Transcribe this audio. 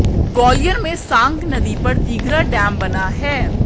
ग्वालियर में सांक नदी पर तिघरा डैम बना है